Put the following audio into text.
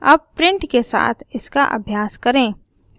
अब print के साथ इसका अभ्यास करें